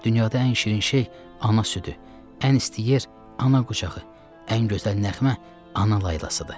Dünyada ən şirin şey ana südü, ən isti yer ana qucağı, ən gözəl nəğmə ana laylasıdır.